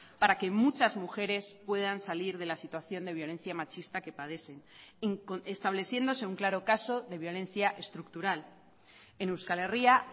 para que muchas mujeres puedan salir de la situación de violencia machista que padecen estableciéndose un claro caso de violencia estructural en euskal herria